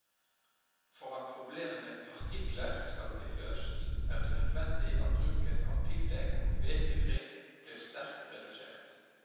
For at problemet med partikler skal bli løst, er det nødvendig at bruken av piggdekk og vedfyring blir sterkt redusert.